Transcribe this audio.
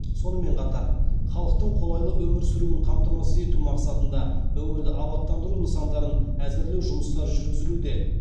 сонымен қатар халықтың қолайлы өмір сүруін қамтамасыз ету мақсатында өңірді абаттандыру нысандарын әзірлеу жұмыстары жүргізілуде